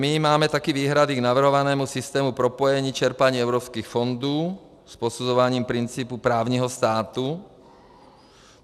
My máme také výhrady k navrhovanému systému propojení čerpání evropských fondů s posuzováním principů právního státu.